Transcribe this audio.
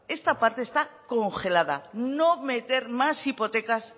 esta parte está congelada no meter más hipotecas